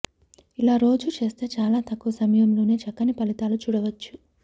ఇలా రోజూ చేస్తే చాలా తక్కువ సమయంలోనే చక్కని ఫలితాలు చూడవచ్చు